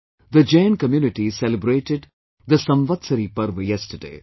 The Jain community celebrated the Samvatsari Parva yesterday